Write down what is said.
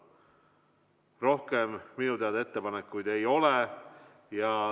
Rohkem minu teada ettepanekuid ei ole.